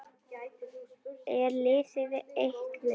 Er liðið eitt lið?